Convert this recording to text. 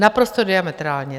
Naprosto diametrálně.